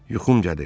Yuxum gəlir.